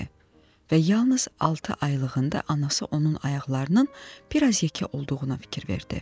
və yalnız altı aylığında anası onun ayaqlarının bir az yekə olduğuna fikir verdi.